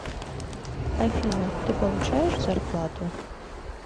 афина ты получаешь зарплату